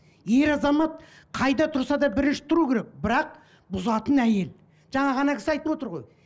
ер азамат қайда тұрса да бірінші тұру керек бірақ бұзатын әйел жаңа кісі айтып отыр ғой